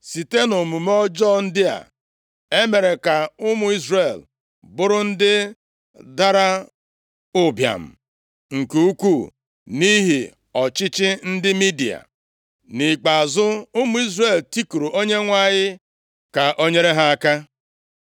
Site nʼomume ọjọọ ndị a, e mere ka ụmụ Izrel bụrụ ndị dara ụbịam nke ukwuu nʼihi ọchịchị ndị Midia. Nʼikpeazụ, ụmụ Izrel tikuru Onyenwe anyị ka o nyere ha aka.